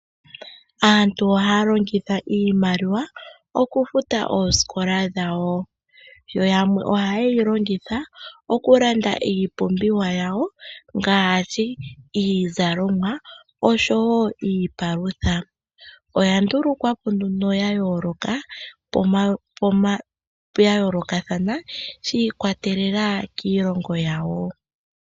Aantu ohaya longitha iimaliwa okufuta oosikola dhawo. Yo yamwe ohaye yi longitha okulanda iipumbiwa yawo ngaashi iizalomwa osho wo iipalutha. Oya ndulukwa po nduno ya yoolokathana shi ikwatelela kiilongo yawo.